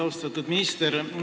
Austatud minister!